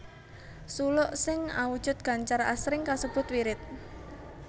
Suluk sing awujud gancar asring kasebut wirid